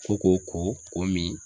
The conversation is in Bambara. Ko k'o ko k'o min